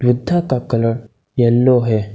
बुद्धा का colour yellow है।